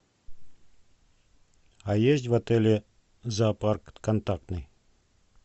а есть в отеле зоопарк контактный